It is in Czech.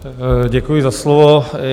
Děkuji za slovo.